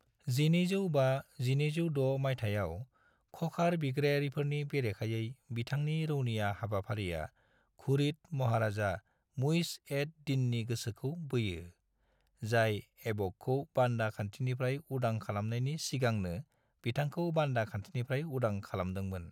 1205-1206 मायथाइयाव ख'खार बिग्रायारिफोरनि बेरेखायै बिथांनि रौनिया हाबाफारिया घुरिद महाराजा मुइज़ एड-दीननि गोसोखौ बोयो, जाय ऐबकखौ बान्दा खान्थिनिफ्राय उदां खालामनायनि सिगांनो बिथांखौ बान्दा खान्थिनिफ्राय उदां खालामदोंमोन।